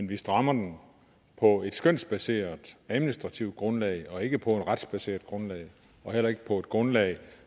vi strammer den på et skønsbaseret administrativt grundlag og ikke på et retsbaseret grundlag og heller ikke på et grundlag